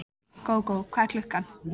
Gógó, hvað er klukkan?